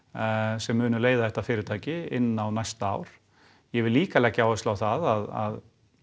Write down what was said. sem munu leiða þetta fyrirtæki inn á næsta ár ég vil líka leggja áherslu á það að